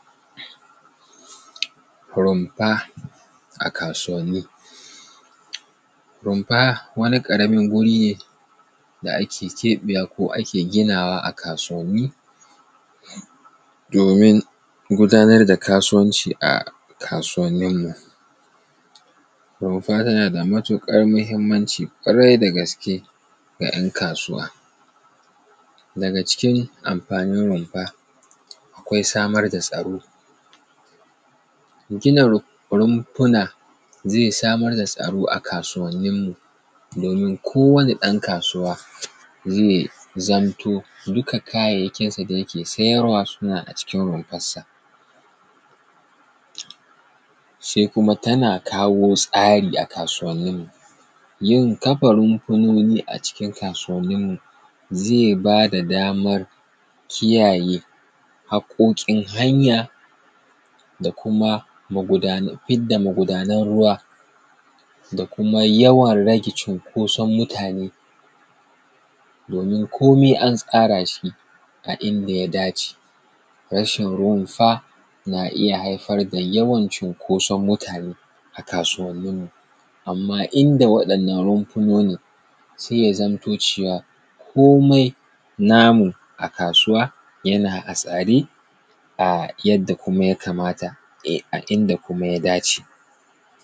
Rumfa a kasuwanin. Rumfa wani ƙaramin wuri ne da ake keɓewa ko ake ginawa a kasuwanin domin gudanar da kasuwanci a kasuwanin mu. Rumfa tana da matuƙar muhinmanci ƙwarai da gaske ga ‘yan kasuwa. Daga cikin amfanin rumfa, akwai samar da tsaro. Gina rumfuna zai samar da tsaro a kasuwanin mu domin kowane ɗan kasuwa zai zamto duka kayayakinsa da yake siyarwa suna a cikin rumfansa. Sai kuma tana kawo tsari a kasuwanin mu. Yin kafa rufunoni a cikin kasuwanin mu zai ba da damar kiyaye haƙƙoƙin hanya, da kuma fidda magudanan ruwa, da kuma yawan rage cikosan mutane domin komai an tsara shi a inda ya dace. Rashin rumfa na iya haifar da yawan cikosan mutane a kasuwanin mu, amma inda wa'inan runufunonin sai ya zamto cewa komai namu a kasuwa yana a tsare a yanda kuma ya kamata, a inda kuma ya dace.